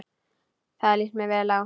Það líst mér vel á.